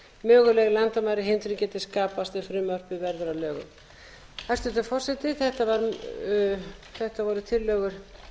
ef frumvarpið verður að lögum hæstvirtur forseti þetta voru tillögur